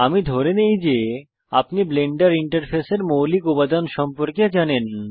আমি ধরে নেই যে আপনি ব্লেন্ডার ইন্টারফেসের মৌলিক উপাদান সম্পর্কে জানেন